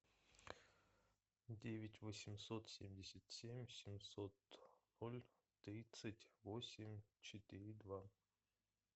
девять восемьсот семьдесят семь семьсот ноль тридцать восемь четыре два